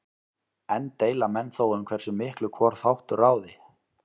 Enn deila menn þó um hversu miklu hvor þáttur ráði.